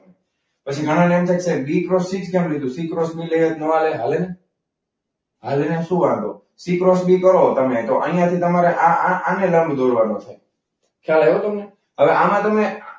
પછી ઘણા ને એમ થાય કે બી ક્રોસ સી કેમ લીધું? સી ક્રોસ બી લઈએ તો ના હાલે? તો ના ચાલે ને શું વાંધો? સી ક્રોસ બી કરો તમે તો અહીંયા થી તમારે આ આ લંબ દોરવાનો છે. ખ્યાલ આવ્યો તમને? હવે આમાં તમને